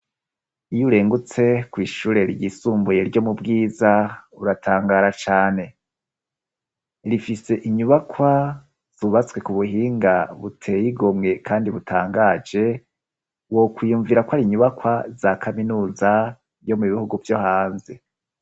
Iyo urengutse kw'ishure ryisumbuye ryo mu Bwiza uratangara cane. Rifise inyubakwa zubatswe ku buhinga buteye igomwe kandi butangaje, wokwiyumvira ko ari inyubakwa za kaminuza yo mu bihugu vyo hanze.